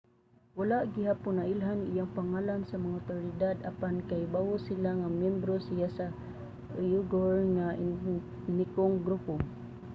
wala gihapon nailhan iyang pangalan sa mga awtoridad apan kahibawo sila nga miyembro siya sa uighur nga etnikong grupo